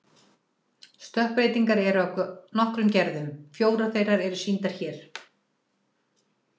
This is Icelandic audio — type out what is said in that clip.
Stökkbreytingar eru af nokkrum gerðum, fjórar þeirra eru sýndar hér.